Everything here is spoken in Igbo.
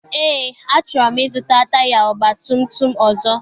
Eé, achọrọ m I zụta taya ọgbatumtum ọzọ.